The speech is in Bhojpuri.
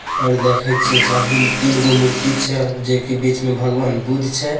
और देखे छिये चार दू तीन गो मूर्ति छै जे कि बीच में भगवान बुद्ध छै।